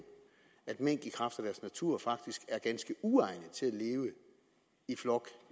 at mink i kraft af deres natur faktisk er ganske uegnet til at leve i flok